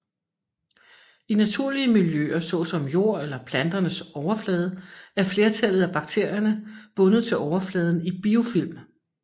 I naturlige miljøer såsom jord eller planters overflader er flertallet af bakterier bundet til overfladen i biofilm